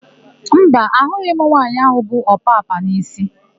Mba, ahụghị m nwaanyị áhụ̀ bu ọpapa n'isi.